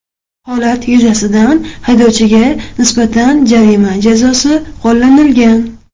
Holat yuzasidan haydovchiga nisbatan jarima jazosi qo‘llanilgan.